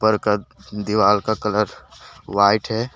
दीवार का colour white है।